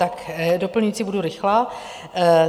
Tak doplňující, budu rychlá.